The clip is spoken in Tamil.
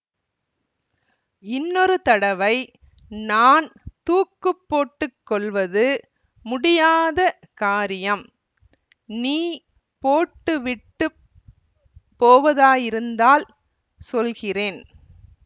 இன்னொரு தடவை நான் தூக்கு போட்டு கொள்வது முடியாத காரியம் நீ போட்டு விட்டு போவதாயிருந்தால் சொல்கிறேன்